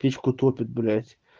печку топит блядь